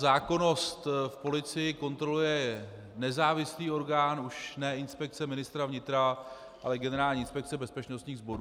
Zákonnost v policii kontroluje nezávislý orgán, už ne Inspekce ministra vnitra, ale Generální inspekce bezpečnostních sborů.